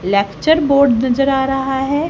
Lecture board नजर आ रहा है।